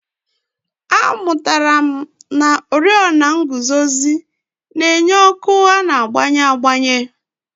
Amụtara m na oriọna nguzozi na-enye ọkụ a na-agbanwe agbanwe.